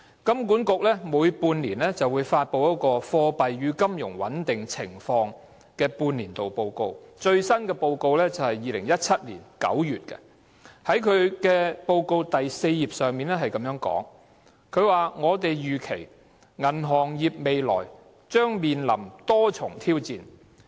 金管局每半年發布一份《貨幣與金融穩定情況半年度報告》，最新的一份報告在2017年9月發表。報告的第4頁指出，"我們預期銀行業未來將面臨多重挑戰。